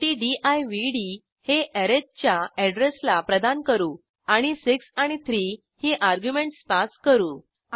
शेवटी दिवड हे अरिथ च्या अॅड्रेसला प्रदान करू आणि 6 आणि 3 ही अर्ग्युमेंटस पास करू